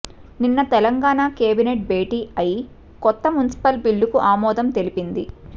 నిన్న తెలంగాణ కేబినెట్ భేటి అయి కొత్త మున్సిపల్ బిల్లుకు ఆమోదం తెలిపింది